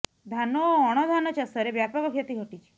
ଧାନ ଓ ଅଣ ଧାନ ଚାଷରେ ବ୍ୟାପକ କ୍ଷତି ଘଟିଛି